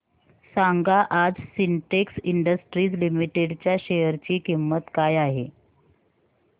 सांगा आज Sintex Industries Limited च्या शेअर ची किंमत काय आहे